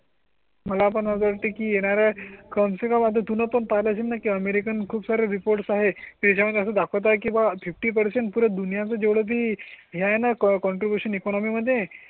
मला पण असं वाटते की येणार् तुन पण पाहिलं असेल ना की अमेरिकन खूप सारे रिपोर्ट्स आहे. त्यामुळे दाखवता किंवा फिफ्टी पर्सेंट पूरे दुनिया जेवढी यांना कॉन्ट्रिब्यूशन इकॉनॉमी मध्ये